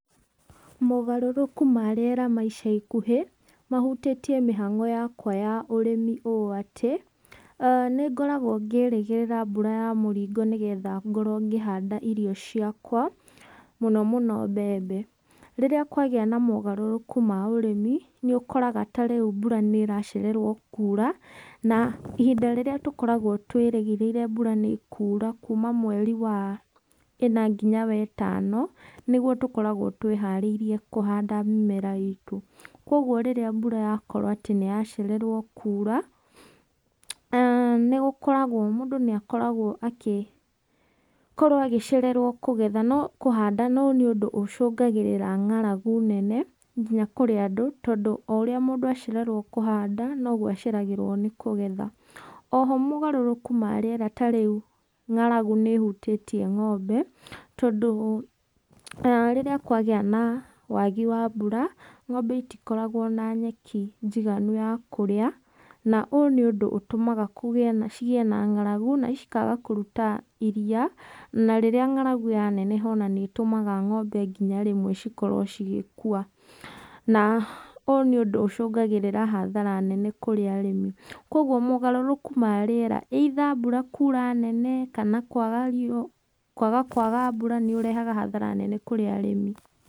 Mogarũrũkũ ma rĩera ma ica ikũhĩ mahũtitie mĩhango yakwa ya ũrĩmi ũũ atĩ nĩngoragwo ngĩrĩgĩrĩra mbũra ya mũrĩngo nĩgetha ngorwo ngĩhanda ĩrĩo ciakwa mũnomũno mbembe rĩrĩa kwagĩa na mogarũrũku ma ũrĩmĩ nĩũkoraga ta rĩu mbũra nĩracererwo kũũra na ihĩnda rĩrĩa tũkoragwo twirĩgĩrĩire mbũra nĩikũra kũma mwerĩ wa ĩna ngĩna wa ĩtano nĩgũo tũkoragwo twĩ harĩĩrĩe kũhanda mĩmera itũ kwa ũgũo mbũra yakorwo atĩ nĩyacererwo kũra nĩgũkoragwo múũdũ níĩkoragwo akĩ agĩkorwo agĩcererwo kũgetha no kũhanda no nĩundũ ũcũngagĩrĩra ng'aragu nene ngĩna kũrĩ andũ tondũ ũrĩa mũndũ acererwo nĩ kũhanda nogwo aceragĩrwo nĩ kũgetha oho mógarũrũkũ ma rĩera ta rĩu ng'aragũ nĩ ĩhutĩtĩe ng'ombe tondũ rĩríĩ kwagíĩ na wagĩ wa mbũra ng'ombe ĩtĩkoragwo na nyeki njĩgani ya kũrĩa na ũũ nĩ úũdũ ũtũmaga cĩgĩe na ng'aragũ na cikaga kũrũta iria na rĩrĩa ng'aragũ yaneneha nĩtúũaga ng'ombe ngĩna rĩmwe cikorwo cĩgĩkũa na ũyũ nĩ ũndũ ũcũngagĩrĩria hathara nene hari arĩmĩ kwa ũgũo mũgarũrũku ma rĩera either mbũra kũra nene kana kwaga rĩũa kwaga kwaga mbũra nĩũrehaga hathara nene kũrĩ arĩmĩ.